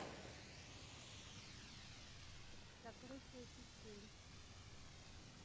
закрытие петель